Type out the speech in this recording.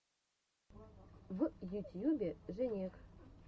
в ютьюбе женек